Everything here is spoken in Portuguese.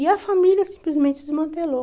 E a família simplesmente se desmantelou.